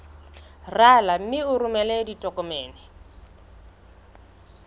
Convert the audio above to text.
rala mme o romele ditokomene